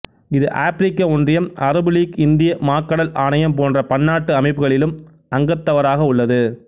இது ஆப்பிரிக்க ஒன்றியம் அரபு லீக் இந்திய மாக்கடல் ஆணயம் போன்ற பன்னாட்டு அமைப்புகளிலும் அங்கத்தவராக உள்ளது